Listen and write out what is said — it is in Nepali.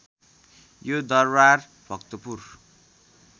यो दरबार भक्तपुर